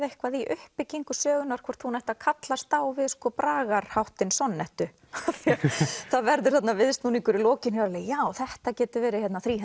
eitthvað í uppbyggingu sögunnar hvort hún ætti að kallast á við sko bragarháttinn sonnettu af því það verður þarna viðsnúningur í lokin og ég alveg já þetta gæti verið